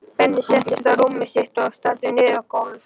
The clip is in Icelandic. Benni settist á rúmið sitt og starði niður á gólfið.